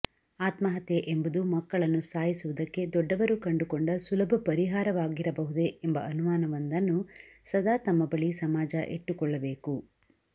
ಆತ್ಮಹತ್ಯೆ ಎಂಬುದು ಮಕ್ಕಳನ್ನು ಸಾಯಿಸುವುದಕ್ಕೆ ದೊಡ್ಡವರು ಕಂಡುಕೊಂಡ ಸುಲಭ ಪರಿಹಾರವಾಗಿರಬಹುದೇ ಎಂಬ ಅನುಮಾನವೊಂದನ್ನು ಸದಾ ತಮ್ಮ ಬಳಿ ಸಮಾಜ ಇಟ್ಟುಕೊಳ್ಳಬೇಕು